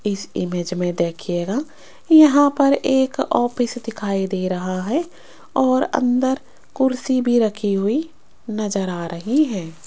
इस इमेज में देखिएगा यहां पर एक ऑफिस दिखाई दे रहा है और अंदर कुर्सी भी रखी हुई नजर आ रही है।